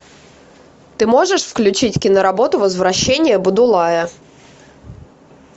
ты можешь включить киноработу возвращение будулая